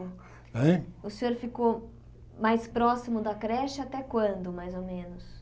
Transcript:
Hein O senhor ficou mais próximo da creche até quando, mais ou menos?